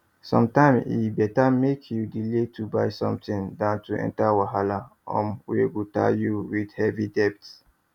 sometimes e better make you delay to buy something than to enter wahala um wey go tie you with heavy debt